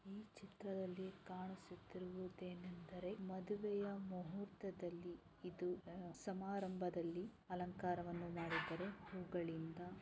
ಈ ಚಿತ್ರದಲ್ಲಿ ಕಾಣಿಸುತ್ತಿರುವುದು ಎಂದರೆ ಮದುವೆ ಮುಹೂರ್ತದಲ್ಲಿ ಸಮಾರಂಭದಲ್ಲಿ ಅಲಂಕಾರ ಮಾಡಿರುತ್ತಾರೆ ಹೂಗಳಿಂದ --